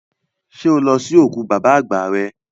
Ṣẹ́ o lọ sí òkú bàbá àgbà rẹ?